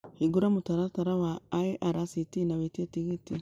hingũra mũtaratara wa irct na wĩtiĩ tigiti